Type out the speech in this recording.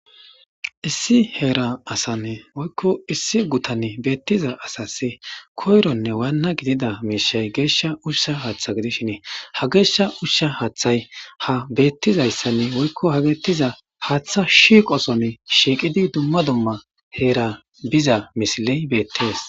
Issi heera asanne woykko issi gutan beettiza asasi koyronne waanna gidida miishay geeshsha ushsha hatha gidishinee ha geeshsha ushsha haaththay ha beettizayssanne woykko ha geettiza haaththa shiiqosone shiiqidi dumma dumma heera biza misiley beettees.